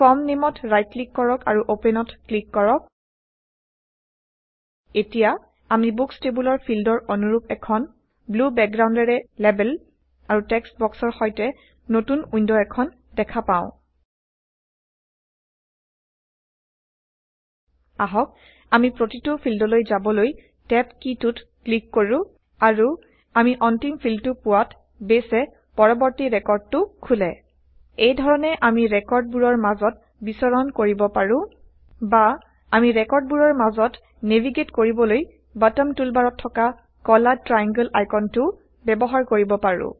form নেইমত right click কৰক আৰু অপেনত ক্লিক কৰক এতিয়া আমি বুকচ টেবোলৰ ফিল্ডৰ অনুৰুপ এখন ব্লো বেকগ্ৰাউণ্ডেৰে লেবেল আৰু টেক্সট বক্সৰ সৈতে160নতুন ৱিণ্ড এখন দেখা পাও আহক আমি প্ৰতিটো ফিল্ডলৈ যাবলৈ টেব কীটোত ক্লিক কৰো আৰু160আমি অন্তিম ফিল্ডটো পোৱাত বেইছে পৰৱৰ্তী ৰেকৰ্ডটো খোলে এই ধৰণে আমি ৰেকৰ্ড বোৰৰ মাজত বিচৰণ কৰিব পাৰো বা আমি ৰেকৰ্ডবোৰৰ মাজত নেভীগেইট কৰিবলৈ বটম টুলবাৰত থকা কলা ট্ৰায়াংগল আইকনটোও ব্যৱহাৰ কৰিব পাৰো